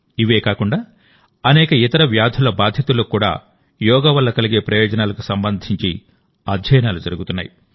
ఇవే కాకుండా అనేక ఇతర వ్యాధుల బాధితులకు కూడా యోగా వల్ల కలిగే ప్రయోజనాలకు సంబంధించి అధ్యయనాలు జరుగుతున్నాయి